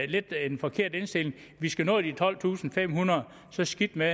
lidt en forkert indstilling vi skal nå de tolvtusinde og femhundrede og så skidt med